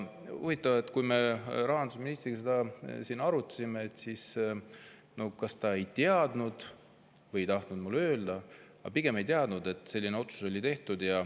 Huvitav on see, et kui me rahandusministriga seda siin arutasime, siis ta kas ei teadnud või ei tahtnud mulle öelda – pigem ei teadnud –, et selline otsus oli tehtud.